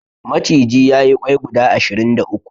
Maciji ya yi ƙwai guda ashirin da uku.